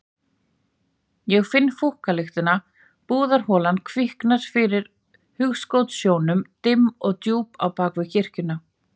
Ég finn fúkkalyktina, búðarholan kviknar fyrir hugskotssjónum, dimm og djúp á bak við kirkjuna.